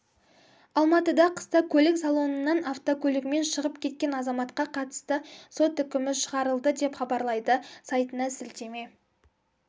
алматыда қыста көлік салонынан автокөлігімен шығып кеткен азаматқа қатысты сот үкімі шығарылды деп хабарлайды сайтына сілтеме